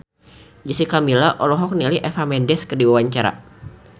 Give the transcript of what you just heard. Jessica Milla olohok ningali Eva Mendes keur diwawancara